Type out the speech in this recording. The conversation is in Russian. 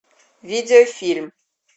видеофильм